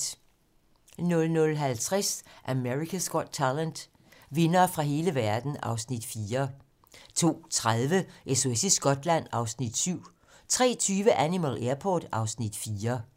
00:50: America's Got Talent - vindere fra hele verden (Afs. 4) 02:30: SOS i Skotland (Afs. 7) 03:20: Animal Airport (Afs. 4)